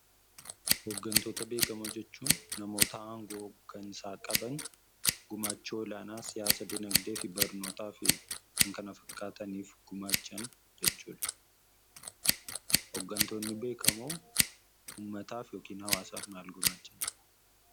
Hoggantoota beekamoo jechuun namoota aangoo hoggansaa qaban gumaacha olaanaa siyaasa dinagdee, barnootaa fi kan kana fakkaataniif gumaachan jechuudha. Hoggantootni beekamoo uummataaf yookiin hawaasaaf maal gumaachani?